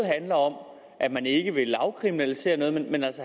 handler om at man ikke vil afkriminalisere noget men også